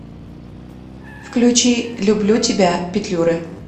включи люблю тебя петлюры